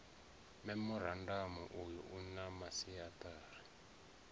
memorandamu uyu u na masiaṱari